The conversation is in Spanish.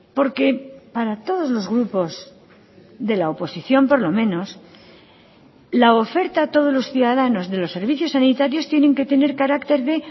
porque para todos los grupos de la oposición por lo menos la oferta a todos los ciudadanos de los servicios sanitarios tienen que tener carácter de